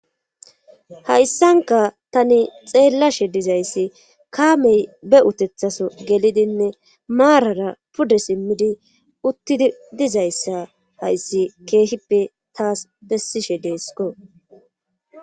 Hayssanka tani xeellashe dizayssi kaamey be utethaso gelidinne maarara pude simmidi utti dizayssa hayssi keehippe taas bessishe deesiko.